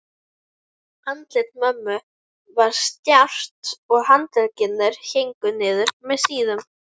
Andlit mömmu var stjarft og handleggirnir héngu niður með síðum.